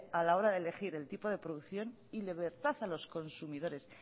a la hora de elegir el tipo de producción y libertad a los consumidores